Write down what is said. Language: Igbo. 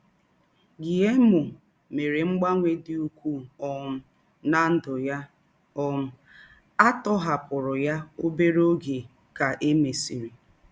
Guillermo mere mgbanwe dị ukwuu um ná ndụ ya, um a tọhapụrụ ya obere oge ka e mesịrị.